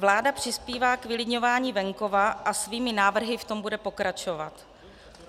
Vláda přispívá k vylidňování venkova a svými návrhy v tom bude pokračovat.